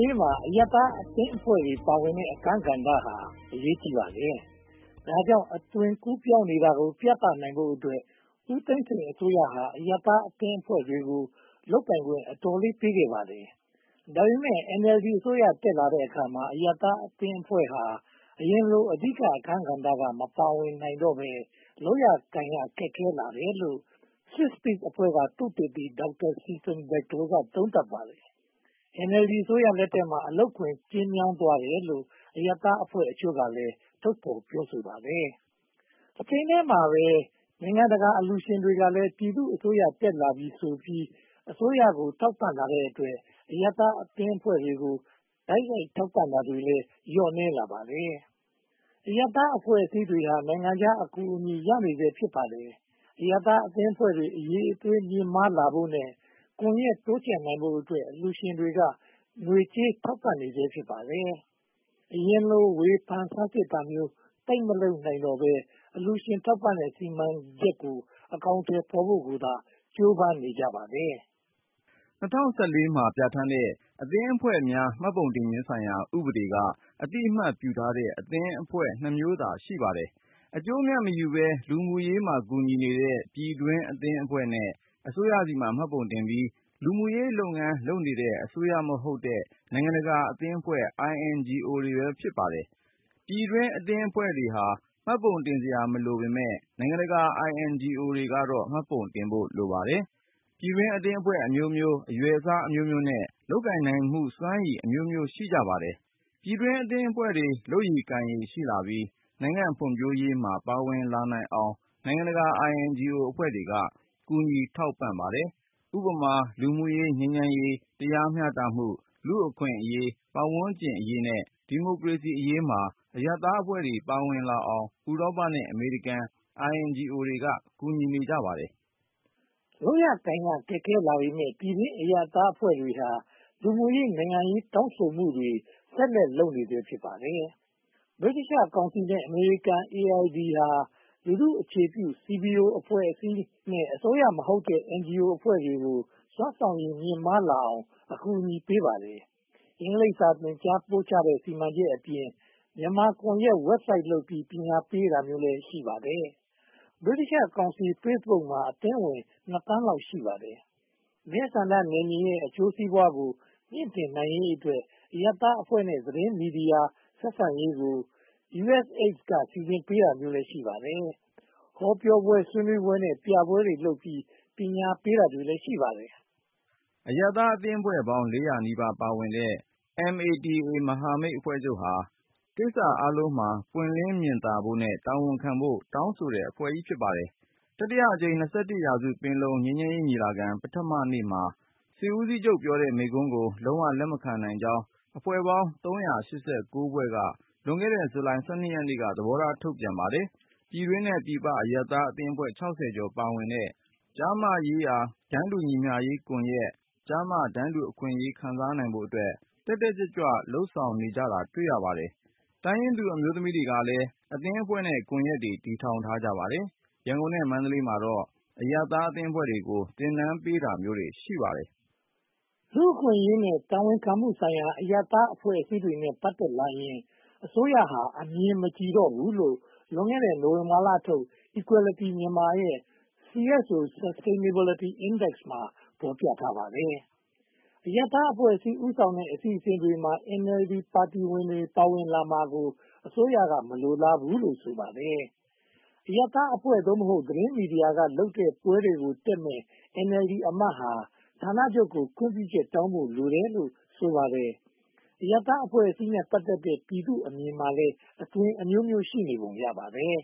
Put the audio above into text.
ရေးမှာ အရပ်သားအသင်းအဖွဲ့တွေ ပါဝင်တဲ့အခန်းကဏ္ဍဟာ အရေးကြီးပါတယ်။ ဒါကြောင့် အသွင်ကူးပြောင်းနေတာကို ပြသနိုင်ဖို့အတွက် ဦးသိန်းစိန်အစိုးရဟာ အရပ်သားအသင်းအဖွဲ့တွေကို လုပ်ပိုင်ခွင့် အတော်လေးပေးခဲ့ပါတယ်။ ဒါပေမဲ့ NLD အစိုးရ တက်လာတဲ့အခါမှာ အရပ်သားအသင်းအဖွဲ့ဟာ အရင်လို အဓိကအခန်းကဏ္ဍက မပါဝင်နိုင်တော့ဘဲ လုပ်ရကိုင်ရ ခက်ခဲလာတယ်လို့ Swisspeace အဖွဲ့က သုတေသီ Dr. Stefan Bachtold က သုံးသပ်ပါတယ်။ NLD အစိုးရလက်ထက်မှာ အလုပ်ခွင် ကျဉ်းမြောင်းသွားတယ်လို့ အရပ်သားအဖွဲ့အချို့ကလည်း ထုတ်ဖော်ပြောဆိုပါတယ်။ တချိန်တည်းမှာပဲ နိုင်ငံတကာအလှူရှင်တွေကလည်း ပြည်သူ့အစိုးရ တက်လာပြီဆိုပြီး အစိုးရကို ထောက်ပံ့လာတဲ့အတွက် အရပ်သားအသင်းအဖွဲ့တွေကို တိုက်ရိုက်ထောက်ပံ့တာလည်း လျော့နည်းလာပါတယ်။ အရပ်သားအဖွဲ့အစည်းတွေဟာ နိုင်ငံခြားအကူအညီ ရနေဆဲ ဖြစ်ပါတယ်။ အရပ်သားအသင်းအဖွဲ့တွေ အရည်အသွေး မြင့်မားလာဖို့နဲ့ ကွန်ရက်တိုးချဲ့နိုင်ဖို့အတွက် အလှူရှင်တွေက ငွေကြေးထောက်ပံ့နေဆဲ ဖြစ်ပါတယ်။ အရင်လို ဝေဖန်ဆန်းစစ်တာမျိုး သိပ်မလုပ်နိုင်တော့ဘဲ အလှူရှင်ထောက်ပံ့တဲ့ စီမံချက်ကို အကောင်အထည်ဖော်ဖို့ကိုသာ ကြိုးပမ်းနေကြပါတယ်။ ၂၀၁၄ မှာ ပြဌာန်းတဲ့ အသင်းအဖွဲ့များ မှတ်ပုံတင်ခြင်းဆိုင်ရာ ဥပဒေ က အသိအမှတ်ပြုထားတဲ့ အသင်းအဖွဲ့နှစ်မျိုးသာ ရှိပါတယ်။ အကျိုးအမြတ်မယူဘဲ လူမှုရေးမှာ ကူညီနေတဲ့ ပြည်တွင်းအသင်းအဖွဲ့နဲ့ အစိုးရဆီမှာ မှတ်ပုံတင်ပြီး လူမှုရေးလုပ်ငန်းလုပ်နေတဲ့ အစိုးရမဟုတ်တဲ့ နိုင်ငံတကာအသင်းအဖွဲ့ INGO တွေ ဖြစ်ပါတယ်။ ပြည်တွင်းအသင်းအဖွဲ့ဟာ မှတ်ပုံတင်စရာ မလိုပေမယ့် နိုင်ငံတကာ INGO ကတော့ မှတ်ပုံတင်ဖို့ လိုပါတယ်။ ပြည်တွင်းအသင်းအဖွဲ့အမျိုးမျိုး၊ အရွယ်အစားအမျိုးမျိုးနဲ့ လုပ်ကိုင်နိုင်မှုစွမ်းရည် အမျိုးမျိုး ရှိကြပါတယ်။ ပြည်တွင်းအသင်းအဖွဲ့တွေ လုပ်ရည်ကိုင်ရည် ရှိလာပြီး နိုင်ငံ့ဖွံ့ဖြိုးရေးမှာ ပါဝင်လာနိုင်အောင် နိုင်ငံတကာ INGO အဖွဲ့တွေက ကူညီထောက်ပံ့ပါတယ်။ ဥပမာ လူမှုရေး၊ ငြိမ်းချမ်းရေး၊ တရားမျှတရေး၊ လူ့အခွင့်အရေး၊ ပတ်ဝန်းကျင်အရေးနဲ့ ဒီမိုကရေစီအရေးမှာ အရပ်သားအဖွဲ့တွေ ပါဝင်လာအောင် ဥရောပနဲ့ အမေရိကန် INGO တွေက ကူညီပါတယ်။ လုပ်ရကိုင်ရ ခက်ခဲလာပေမယ့် ပြည်တွင်းအရပ်သားအဖွဲ့တွေဟာ လူမှုရေး၊ နိုင်ငံရေး တောင်းဆိုမှုတွေ ဆက်လုပ်နေဆဲ ဖြစ်ပါတယ်။ ဗြိတိသျှကောင်စီနဲ့ အမေရိကန် AID ဟာ လူထုအခြေပြု၊ CBO အဖွဲ့နဲ့ အစိုးရမဟုတ်တဲ့ NGO အဖွဲ့တွေကို စွမ်းဆောင်ရည် မြင့်မားအောင် အကူအညီပေးပါတယ်။ အင်္ဂလိပ်စာသင်ကြားတဲ့ စီမံချက်အပြင် မြန်မာကွန်ရက် Website လုပ်ပြီး ပညာပေးတာမျိုးလည်း ရှိပါတယ်။ ဗြိတိသျှကောင်စီ၊ Facebook မှာ အသင်းဝင် နှစ်သန်းလောက် ရှိပါတယ်။ မဲဆန္ဒနယ်မြေရဲ့ အကျိုးစီးပွားကို မြှင့်တင်နိုင်ရေးအတွက် အရပ်သားအဖွဲ့နဲ့ သတင်းမီဒီယာ ဆက်ဆံရေးကို USAID က စီစဉ်ပေးတာမျိုးလည်း ရှိပါတယ်။ ဟောပြောပွဲ၊ ဆွေးနွေးပွဲ နဲ့ ပြပွဲတွေလုပ်ပြီး ပညာပေးတာမျိုးလည်း ရှိပါတယ်။ အရပ်သားအသင်းအဖွဲ့ပေါင်း (၄၀၀) နီးပါး ပါဝင်တဲ့ MATA မဟာမိတ်အဖွဲ့ချုပ်ဟာ ကိစ္စအားလုံးမှာ ပွင့်လင်းမြင်သာဖို့နဲ့ တာဝန်ခံဖို့ကို တောင်းဆိုတဲ့အဖွဲ့ကြီး ဖြစ်ပါတယ်။ တတိယအကြိမ် (၂၁) ရာစု ပင်လုံ ငြိမ်းချမ်းရေးညီလာခံ ပထမနေ့မှာ စစ်ဦးစီးချုပ်ပြောတဲ့မိန့်ခွန်းကို လုံးဝလက်မခံကြောင်း အဖွဲ့ပေါင်း (၃၈၉) ဖွဲ့က လွန်ခဲ့တဲ့ ဇူလိုင်လ (၁၂) ရက်နေ့က သဘောထားထုတ်ပြန်ပါတယ်။ ပြည်တွင်းနဲ့ပြည်ပ အရပ်သားအသင်းအဖွဲ့ (၆၀) ကျော် ပါဝင်တဲ့ ကျား/မ ရေးရာ တန်းတူညီမျှရေးကွန်ရက်၊ ကျားမတန်းတူအခွင့်အရေး ခံစားနိုင်ဖို့အတွက် တက်တက်ကြွကြွ လုပ်ဆောင်နေတာကို တွေ့ရပါတယ်။ တိုင်းရင်းသူအမျိုးသမီးတွေကလည်း အသင်းအဖွဲ့နဲ့ ကွန်ရက်တွေ တည်ထောင်ကြပါတယ်။ ရန်ကုန်နဲ့ မန္တလေးမှာတော့ အရပ်သားအသင်းအဖွဲ့တွေကို သင်တန်းပေးတာမျိုးတွေ ရှိပါတယ်။ လူ့အခွင့်အရေးနဲ့ တာဝန်ခံမှုဆိုင်ရာ အရပ်သားအဖွဲ့အစည်းတွေနဲ့ ပတ်သက်လာရင် အစိုးရဟာ အမြင်မကြည်တော့ဘူးလို့ လွန်ခဲ့တဲ့ နိုဝင်ဘာလထုတ် Equality Myanmar ရဲ့ CSO Sustainability Index မှာ ဖော်ပြထားပါတယ်။ အရပ်သားအဖွဲ့အစည်း ဦးဆောင်တဲ့ အစီအစဉ်တွေမှာ NLD ပါတီဝင်တွေ ပါဝင်လာမှာကို အစိုးရက မလိုလားဘူးလို့ ဆိုပါတယ်။ အရပ်သားအဖွဲ့ (သို့မဟုတ်) သတင်းမီဒီယာက လုပ်တဲ့ပွဲတွေကို တက်မယ့် NLD အမတ်ဟာ ဌာနချုပ်ကို ခွင့်ပြုချက်တောင်းဖို့ လိုတယ်လို့ ဆိုပါတယ်။ အရပ်သားအဖွဲ့အစည်းနဲ့ ပတ်သက်တဲ့ ပြည်သူ့အမြင်မှာလည်း အသွင်အမျိုးမျိုး ရှိနေပုံရပါတယ်